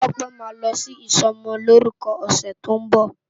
Tope má lò si isòmòlórùkò òsè tó n bo